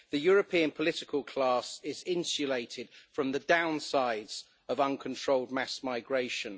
The European political class is insulated from the downsides of uncontrolled mass migration.